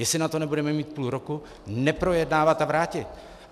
Jestli na to nebudeme mít půl roku, neprojednávat a vrátit!